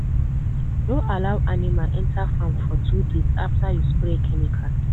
no allow animal enter farm for two days after you spray chemical.